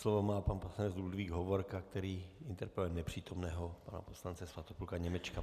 Slovo má pan poslanec Ludvík Hovorka, který interpeluje nepřítomného pana poslance Svatopluka Němečka.